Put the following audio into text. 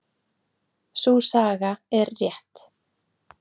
Sú saga er rétt.